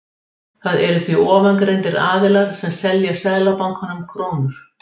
Það eru því ofangreindir aðilar sem selja Seðlabankanum krónur.